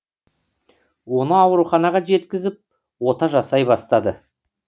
оны ауруханаға жеткізіп ота жасай бастайды